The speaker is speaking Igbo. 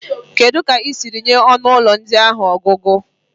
Kedu ka ị siri nye ọnụ ụlọ ndị a ọnụọgụgụ?